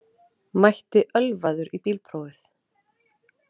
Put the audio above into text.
Mætti ölvaður í bílprófið